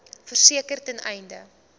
verseker ten einde